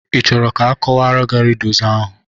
Ị chọrọ ka akọwara gị rịdus ahụ?